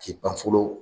K'i ban fɔlɔ